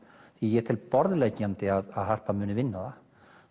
ég tel borðliggjandi að Harpa muni vinna það